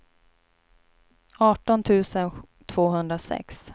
arton tusen tvåhundrasex